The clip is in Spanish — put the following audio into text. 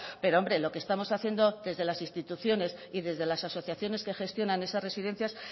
pero hombre lo que estamos haciendo desde las instituciones y desde las asociaciones que gestionan esas residencias